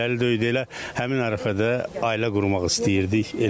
Ailəli deyildik, elə həmin ərəfədə ailə qurmaq istəyirdik.